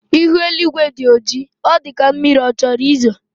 Ihu eluigwe dị ọjị, ọ dịka mmiri chọrọ izo